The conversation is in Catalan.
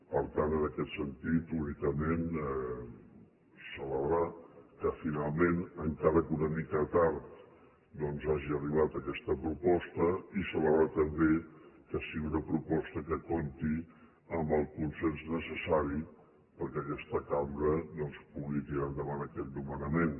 per tant en aquest sentit únicament celebrar que finalment encara que una mica tard doncs hagi arribat aquesta proposta i celebrar també que sigui una proposta que compti amb el consens necessari perquè aquesta cambra pugui tirar endavant aquest nomenament